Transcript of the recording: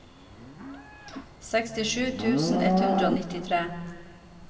sekstisju tusen ett hundre og nittitre